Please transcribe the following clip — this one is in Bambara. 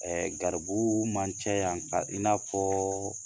garibu man ca yan tan , i n'a fɔ